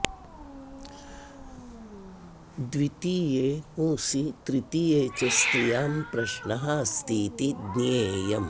द्वितीये पुंसि तृतीये च स्त्रियां प्रश्नः अस्तीति ज्ञेयम्